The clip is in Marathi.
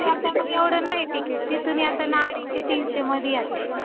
हो. चल project झाला का तुझा मला जरा थोडासा दाखवशील का?